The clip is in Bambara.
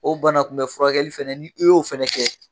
O banakunbɛ furakɛli fɛnɛ ni i y'o fɛnɛ kɛ